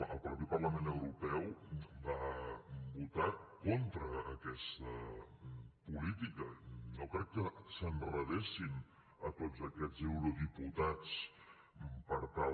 el mateix parlament europeu va votar contra aquesta política no crec que s’enredessin a tots aquests eurodiputats per tal